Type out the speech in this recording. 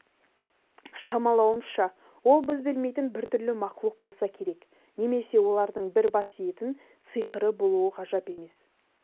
шамалауымызша ол біз білмейтін біртүрлі мақлұқ болса керек немесе олардың бір бас иетін сиқыры болуы ғажап емес